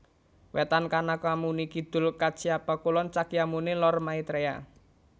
Wetan Kanakamuni Kidul Kacyapa Kulon Cakyamuni Lor Maitreya